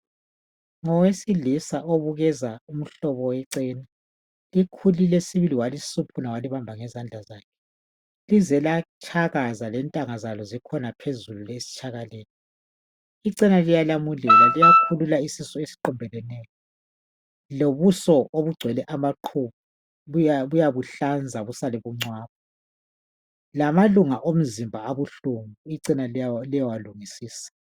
ngowesilisa obukeza umhlobo wechena likhulile sibili walisiphuna walibamba ngezandla zakhe lize latshakaza lentanga zalo zikhona phezulu esitshakaleni ichena liyalamulela liyakhulula isisu esiqumbeleneyo lobuso obugcwele amaqhubu buyabuhlanza busale bungcono lamalunga omzimba abuhlungu ichena liyawalungisisa